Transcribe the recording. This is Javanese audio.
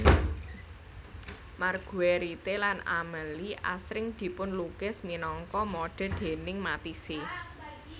Marguerite lan Amélie asring dipunlukis minangka modè déning Matisse